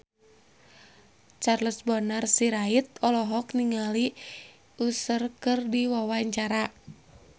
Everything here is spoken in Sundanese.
Charles Bonar Sirait olohok ningali Usher keur diwawancara